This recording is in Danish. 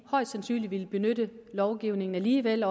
højst sandsynligt vil benytte lovgivningen alligevel